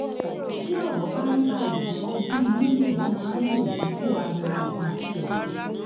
tí ọrọ bá rí báyìí ọgbọn inú lèèyàn máa ń lò dípò ariwo ogun àti ọtẹ